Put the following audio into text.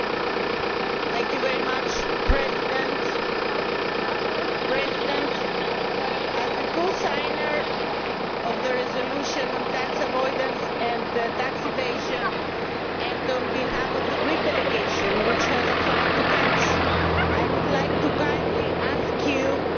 Mr President, as a co signatory of the resolution on tax avoidance and tax evasion and on behalf of the Greek delegation, which has a flight to catch, I would like to kindly ask you, if the Chamber agrees,